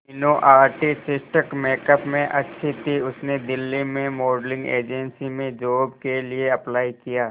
Meenu artistic makeup में अच्छी थी उसने दिल्ली में मॉडलिंग एजेंसी में जॉब के लिए अप्लाई किया